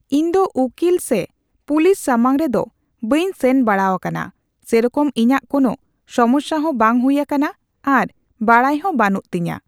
ᱤᱧ ᱫᱚ ᱩᱠᱤᱞ ᱥᱮ ᱯᱩᱞᱤᱥ ᱥᱟᱢᱟᱝ ᱨᱮᱫᱚ ᱵᱟᱹᱧ ᱥᱮᱱ ᱵᱟᱲᱟᱣᱟᱠᱟᱱᱟ᱾ ᱥᱮᱨᱚᱠᱚᱢ ᱤᱧᱟᱹᱜ ᱠᱳᱱᱳ ᱥᱚᱢᱚᱥᱥᱟ ᱦᱚᱸ ᱵᱟᱝ ᱦᱩᱭ ᱟᱠᱟᱱᱟ ᱟᱨ ᱵᱟᱲᱟᱭ ᱦᱚ ᱦᱚᱸ ᱵᱟᱹᱱᱩᱜ ᱛᱤᱧᱟᱹ᱾